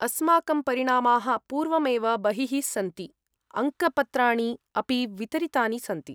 अस्माकं परिणामाः पूर्वमेव बहिः सन्ति, अङ्कपत्राणि अपि वितरितानि सन्ति।